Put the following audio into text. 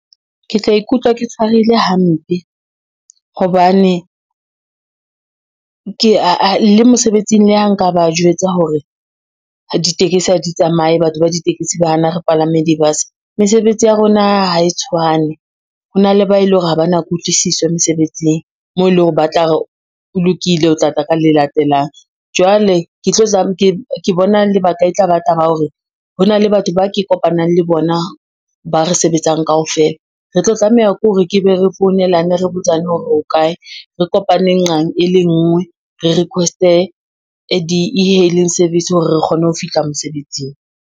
Ke tla ikutlwa ke tshwareile hampe, hobane le mosebetsing le ha nka ba jwetsa hore ditekesi ha di tsamaye, batho ba ditekesi ba hana re palame di-bus. Mesebetsi ya rona ha e tshwane, ho na le ba e leng hore ha ba na kutlwisiso mesebetsing moo e leng hore ba tla re ho lokile o tla tla ka le latelang. Jwale ke bona lebaka e tla ba taba hore, hona le batho ba ke kopanang le bona ba re sebetsang kaofela, re tlo tlameha ke hore ke be re founelane re botsane hore re ho kae, re kopaneng nqang e le ngwe re request-e di-e-hailing service hore re kgone ho fihla mosebetsing.